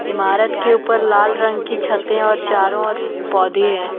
इमारत के ऊपर लाल रंग की छते और चारों ओर पेड़ पौधे हैं।